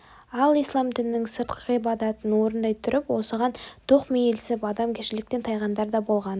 ал ислам дінінің сыртқы ғибадатын орындай тұрып осыған тоқмейілсіп адамгершіліктен тайғандар да болған